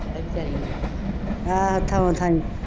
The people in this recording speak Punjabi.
ਹਾਂ ਥਾਉਂ ਥਾਈਂ